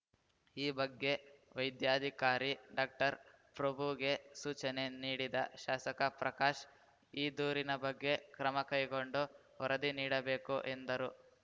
ಈ ಬಗ್ಗೆ ವೈದ್ಯಾಧಿಕಾರಿ ಡಾಕ್ಟರ್ಪ್ರಭುಗೆ ಸೂಚನೆ ನೀಡಿದ ಶಾಸಕ ಪ್ರಕಾಶ್‌ ಈ ದೂರಿನ ಬಗ್ಗೆ ಕ್ರಮ ಕೈಗೊಂಡು ವರದಿ ನೀಡಬೇಕು ಎಂದರು